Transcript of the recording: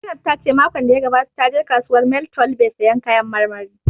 Zainab ta ce makon da ya gabata ta je kasuwar mile twelbe sayan kayan marmari